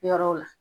Yɔrɔw la